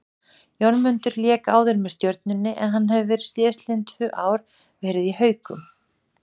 Jónmundur lék áður með Stjörnunni en hann hefur síðastliðinn tvö ár verið í Haukum.